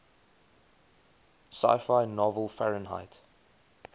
sci fi novel fahrenheit